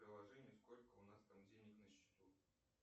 приложение сколько у нас там денег на счету